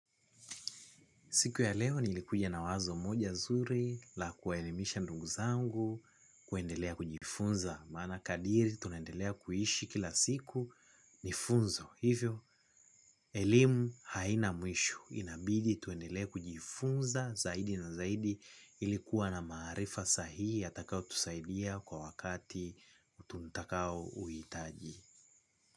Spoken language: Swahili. Siku ya leo nilikuja na wazo moja zuri la kuelimisha ndugu zangu kuendelea kujifunza. Maana kadri tunaendelea kuishi kila siku ni funzo. Hivyo, elimu haina mwisho. Inabidi tuendelee kujifunza zaidi na zaidi ilikuwa na maarifa sahihi yatakayo tusaidia kwa wakati tutakao uhitaji.